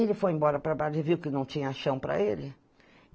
Ele foi embora para Brasília, viu que não tinha chão para ele?